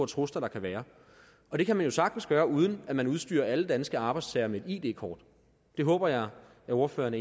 trusler der kan være og det kan man jo sagtens gøre uden at man udstyrer alle danske arbejdstagere med et id kort det håber jeg ordføreren